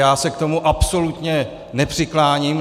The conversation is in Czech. Já se k tomu absolutně nepřikláním.